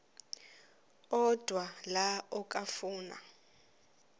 odwa la okafuna